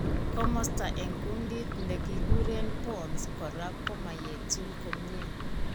Komosto eng' kundit nekikureen pons kora komoyeetu komyee